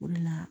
O de la